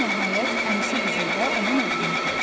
Enna nəhayət əmisi qızı ilə onun oğlunu gördü.